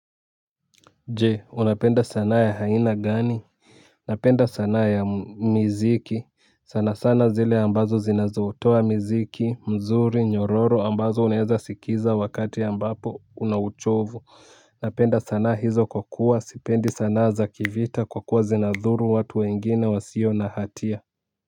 Je unapenda sanaa ya haina gani? Napenda sanaa ya miziki, sana sana zile ambazo zinazotoa miziki mzuri nyororo ambazo unaeza sikiza wakati una uchovu napenda sanaa hizo kwa kuwa sipendi sanaa za kivita kwa kuwa zinadhuru watu wengine wa sio nahatia.